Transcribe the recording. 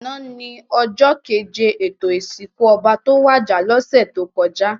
Àná ni òjò kéjé étó isinkú òbá tó wàjá lòsè tókòjá